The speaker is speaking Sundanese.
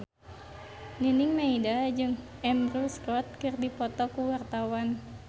Nining Meida jeung Andrew Scott keur dipoto ku wartawan